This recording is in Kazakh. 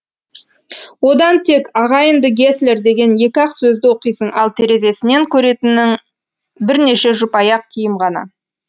одан тек ағайынды геслер деген екі ақ сөзді оқисың ал терезесінен көретінің бірнеше жұп аяқ киім ғана